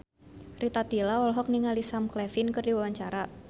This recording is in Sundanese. Rita Tila olohok ningali Sam Claflin keur diwawancara